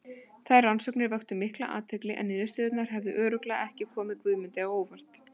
Þær rannsóknir vöktu mikla athygli en niðurstöðurnar hefðu örugglega ekki komið Guðmundi á óvart.